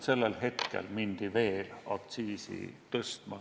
Sellel hetkel aga hakati veel aktsiisi tõstma.